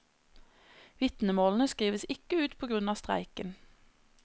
Vitnemålene skrives ikke ut på grunn av streiken.